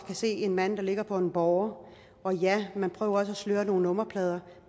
kan se en mand der ligger på en båre og ja man prøver også at sløre nogle nummerplader